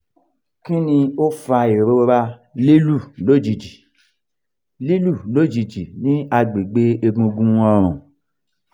kini o fa irora lilu lojiji lilu lojiji ni agbegbe egungun orun?